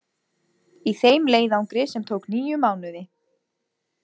Í þeim leiðangri sem tók níu mánuði.